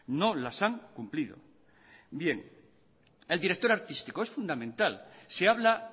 no las han cumplido bien el director artístico es fundamental se habla